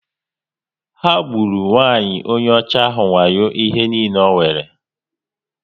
Ha gburu nwanyị onye ọcha wayo ihe niile o nwere